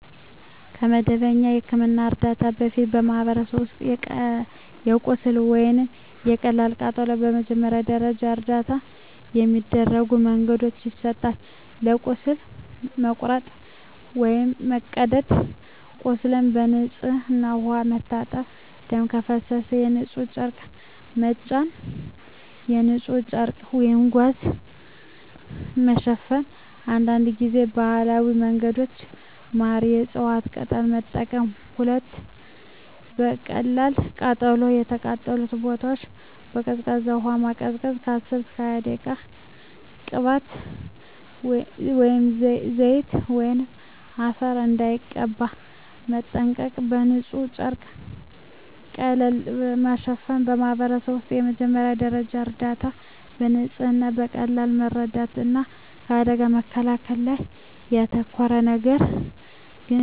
ከመደበኛ የሕክምና እርዳታ በፊት፣ በማኅበረሰቦች ውስጥ ለቁስል ወይም ለቀላል ቃጠሎ የመጀመሪያ ደረጃ እርዳታ በሚከተሉት መንገዶች ይሰጣል፦ ለቁስል (መቁረጥ፣ መቀደድ) ቁስሉን በንጹሕ ውሃ መታጠብ ደም ከፈሰሰ በንጹሕ ጨርቅ መጫን በንጹሕ ጨርቅ/ጋዝ መሸፈን አንዳንድ ጊዜ ባህላዊ መንገዶች (ማር፣ የእፅዋት ቅጠል) መጠቀም 2. ለቀላል ቃጠሎ የተቃጠለውን ቦታ በቀዝቃዛ ውሃ ማቀዝቀዝ (10–20 ደቂቃ) ቅባት፣ ዘይት ወይም አፈር እንዳይቀባ መጠንቀቅ በንጹሕ ጨርቅ ቀለል ማሸፈን በማኅበረሰብ ውስጥ የመጀመሪያ ደረጃ እርዳታ በንጽህና፣ በቀላል መርዳት እና ከአደጋ መከላከል ላይ ያተኮራል፤ ነገር ግን የባህላዊ መንገዶች ጥንቃቄ ይፈልጋሉ።